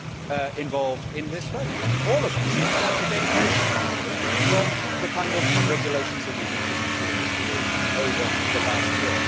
All of us involved in this vote stand to gain very substantially from the kind of regulations that we have been pushing through in this field over the last year.